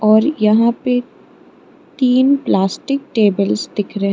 और यहां पे तीन प्लास्टिक टेबल दिख रहे--